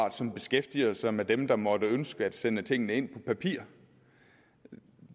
af som beskæftiger sig med dem der måtte ønske at sende tingene ind på papir